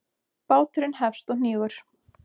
Báturinn hefst og hnígur.